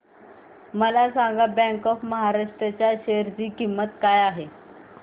मला सांगा bank of Maharashtra च्या शेअर ची किंमत काय आहे